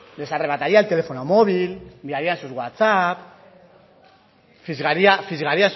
les arrebataría el teléfono móvil miraría sus whatsapp fisgaría